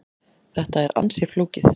Þetta er ansi flókið.